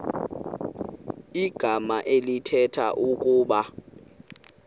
igama elithetha ukuba